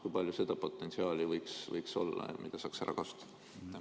Kui palju seda potentsiaali võiks olla, mida saaks ära kasutada?